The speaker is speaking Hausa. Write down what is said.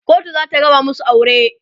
kotu zata raba masu aure